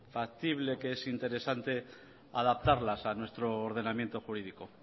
factible que es interesante adaptarlas a nuestro ordenamiento jurídico